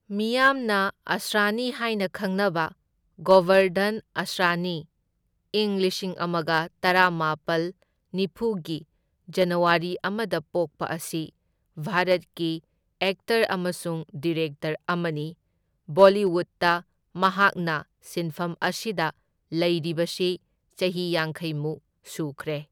ꯃꯤꯌꯥꯝꯅ ꯑꯁ꯭ꯔꯥꯅꯤ ꯍꯥꯢꯅ ꯈꯪꯅꯕ ꯒꯣꯕꯔꯙꯟ ꯑꯁ꯭ꯔꯥꯅꯤ ꯏꯪ ꯂꯤꯁꯤꯡ ꯑꯃꯒ ꯇꯔꯥꯃꯥꯄꯜ ꯅꯤꯐꯨꯒꯤ ꯖꯅꯋꯥꯔꯤ ꯑꯃꯗ ꯄꯣꯛꯄ ꯑꯁꯤ ꯚꯥꯔꯠꯀꯤ ꯑꯦꯛꯇꯔ ꯑꯃꯁꯨꯡ ꯗꯤꯔꯦꯛꯇꯔ ꯑꯃꯅꯤ, ꯕꯣꯂꯤꯋꯨꯗꯇ ꯃꯍꯥꯛꯅ ꯁꯤꯟꯐꯝ ꯑꯁꯤꯗ ꯂꯩꯔꯤꯕꯁꯤ ꯆꯍꯤ ꯌꯥꯡꯈꯩ ꯃꯨꯛ ꯁꯨꯈ꯭ꯔꯦ꯫